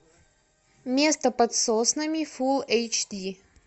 место под соснами фул эйч ди